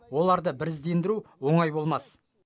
оларды біріздендіру оңай болмас